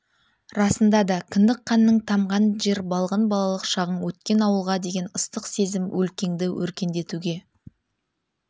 расында да кіндік қаның тамған жер балғын балалық шағың өткен ауылға деген ыстық сезім өлкеңді өркендетуге